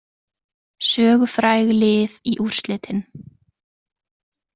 Sögufræg lið í úrslitin